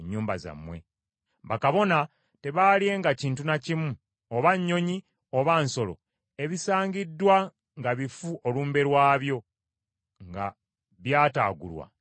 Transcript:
Bakabona tebaalyenga kintu na kimu, oba nnyonyi oba nsolo, ebisangiddwa nga bifu olumbe lwabyo nga byataagulwa nsolo.